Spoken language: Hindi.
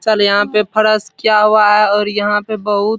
चल यहाँ पे फरस क्या हुआ है और यहाँ पे बहुत --